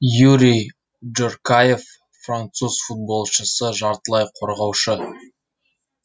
юри джоркаефф француз футболшысы жартылай қорғаушы